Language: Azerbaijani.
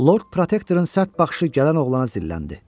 Lord Protektorun sərt baxışı gələn oğlana zilləndi.